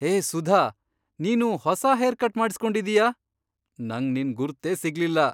ಹೇ ಸುಧಾ, ನೀನು ಹೊಸ haircut ಮಾಡಿಸ್ಕೊಂಡಿದೀಯ! ನಂಗ್ ನಿನ್ ಗುರ್ತೇ ಸಿಗ್ಲಿಲ್ಲ!